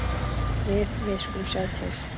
Við. við skulum sjá til.